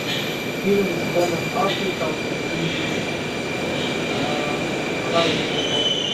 фильм с беном аффлеком и хайзенбергом